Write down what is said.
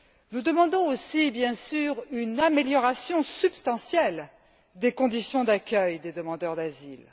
Nous demandons aussi, bien sûr, une amélioration substantielle des conditions d'accueil des demandeurs d'asile.